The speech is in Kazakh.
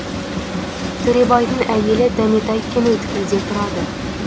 төребайдың әйелі дәметай кеңөткелде тұрады